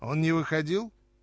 он не выходил